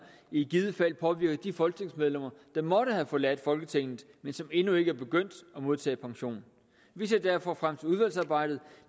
i givet fald påvirker de folketingsmedlemmer der måtte have forladt folketinget men som endnu ikke er begyndt at modtage pension vi ser derfor frem til udvalgsarbejdet